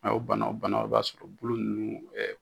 A y'o bana o bana o b'a sɔrɔ bolo ninnu